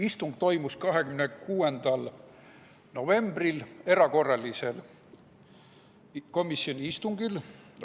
Arutelu toimus 26. novembril komisjoni erakorralisel istungil.